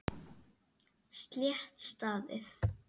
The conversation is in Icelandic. Slétt staðið.